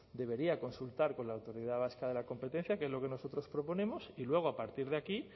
debería consultar con la autoridad vasca de la competencia que es lo que nosotros proponemos y luego a partir de aquí